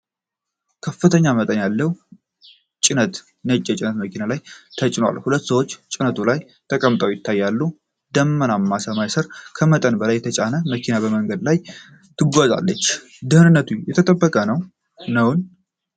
ከፍተኛ መጠን ያለው ጭነት ነጭ የጭነት መኪና ላይ ተጭኗል። ሁለት ሰዎች ጭነቱ ላይ ተቀምጠው ይታያሉ። ደመናማ ሰማይ ስር ከመጠን በላይ የተጫነች መኪና በመንገድ ላይ ትጓዛለች። ደህንነቱ የተጠበቀ ነው?